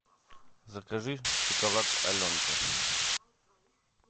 закажи шоколад аленка